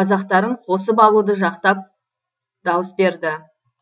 қазақтарын қосып алуды жақтап дауыс берді